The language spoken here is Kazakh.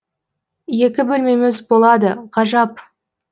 екі бөлмеміз болады ғажап